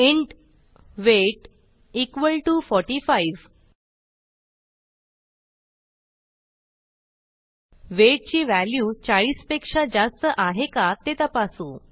int weight equal to 45 weight ची value 40 पेक्षा जास्त आहे का ते तपासू